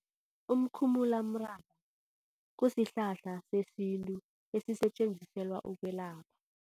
Umkhumulamraba kusihlahla sesintu esisetjenziselwa ukwelapha.